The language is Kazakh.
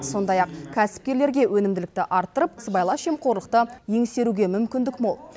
сондай ақ кәсіпкерлерге өнімділікті арттырып сыбайлас жемқорлықты еңсеруге мүмкіндік мол